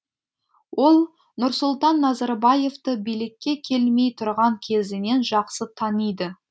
ол нұрсұлтан назарбаевты билікке келмей тұрған кезінен жақсы таниды